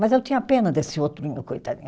Mas eu tinha pena desse outro, meu coitadinho.